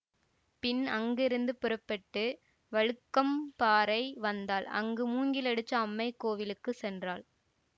பின் அங்கிருந்து புறப்பட்டு வழுக்கம்பாறை வந்தாள் அங்கு மூங்கிலடிச்சி அம்மை கோயிலுக்கு சென்றாள்